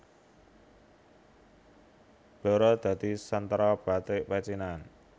Blora dadi sentra batik pecinan